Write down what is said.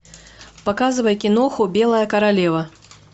показывай киноху белая королева